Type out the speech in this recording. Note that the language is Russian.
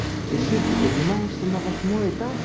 чешир ты поднимаешься на восьмой этаж